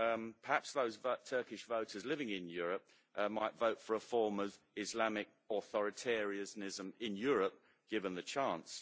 Perhaps those Turkish voters living in Europe might vote for a form of Islamic authoritarianism in Europe, given the chance.